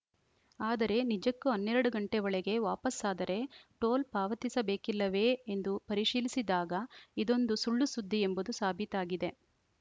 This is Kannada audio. ಆದರೆ ನಿಜಕ್ಕೂ ಹನ್ನೆರಡು ಗಂಟೆ ಒಳಗೆ ವಾಪಸ್ಸಾದರೆ ಟೋಲ್‌ ಪಾವತಿಸಬೇಕಿಲ್ಲವೇ ಎಂದು ಪರಿಶೀಲಿಸಿದಾಗ ಇದೊಂದು ಸುಳ್ಳುಸುದ್ದಿ ಎಂಬುದು ಸಾಬೀತಾಗಿದೆ